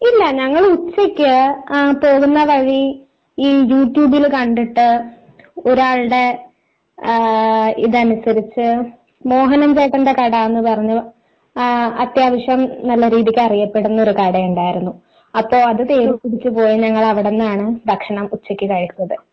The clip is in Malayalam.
ഇല്ല ഞങ്ങൾ ഉച്ചയ്ക്ക് പോകുന്ന വഴി ഈ യുട്യൂബിൽ കണ്ടിട്ട് ഒരാളുടെ ഇതനുസരിച്ച് മോഹനൻചേട്ടന്റെ കട എന്ന് പറഞ്ഞ് അത്യാവശ്യം നല്ല രീതിക്ക് അറിയപ്പെടുന്ന ഒരു കട ഉണ്ടായിരുന്നു. അപ്പോൾ അത് തേടി പിടിച്ച് പോയി ഞങ്ങള് അവിടുന്നാണ് ഭക്ഷണം ഉച്ചയ്ക്ക് കഴിച്ചത്.